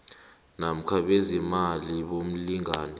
namkha bezeemali bomlingani